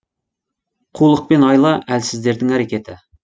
қулық пен айла әлсіздердің әрекеті